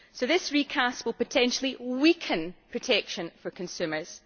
So this recast will potentially weaken protection for consumers.